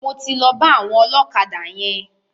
Mo ti lọ bá àwọn ọlọ́kadà yẹn.